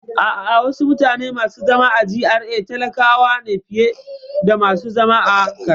A'a, wasu mutane masu zaman GRA talakawa ne fiye da masu zaman karkara